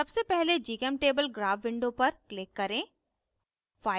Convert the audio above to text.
सबसे पहले gchemtable graph window पर click करें